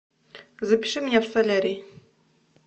запиши меня в солярий